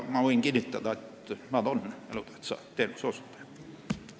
Ma võin kinnitada, et nad on elutähtsa teenuse osutajad.